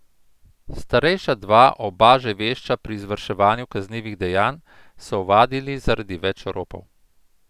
Starejša dva, oba že vešča pri izvrševanju kaznivih dejanj, so ovadili zaradi več ropov.